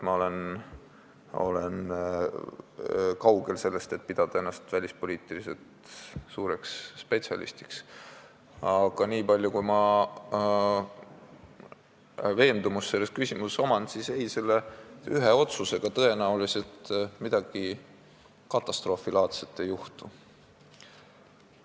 Ma olen kaugel sellest, et pidada ennast suureks välispoliitika spetsialistiks, aga selle veendumuse pealt, mis mul selles küsimuses on, pean ütlema, et selle ühe otsusega tõenäoliselt midagi katastroofilaadset ei juhtu.